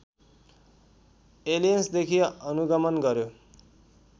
एलियन्सदेखि अनुगमन गर्‍यो